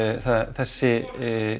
þessi